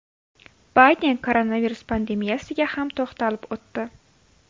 Bayden koronavirus pandemiyasiga ham to‘xtalib o‘tdi.